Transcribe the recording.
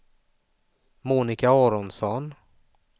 Monika Aronsson